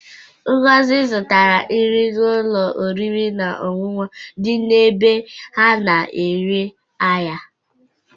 Ngozi zụtara nri n'ụlọ oriri na ọṅụṅụ dị n'ebe a na-ere ahịa.